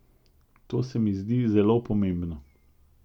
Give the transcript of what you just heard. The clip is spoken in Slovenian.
To se mi zdi zelo pomembno.